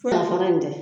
Fura fara in tɛ